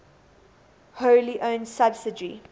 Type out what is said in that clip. wholly owned subsidiary